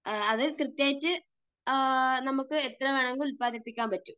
അത് കൃത്യമായിട്ട് നമുക്ക് എത്ര വേണമെങ്കിലും ഉൽപ്പാദിപ്പിക്കാൻ പറ്റും.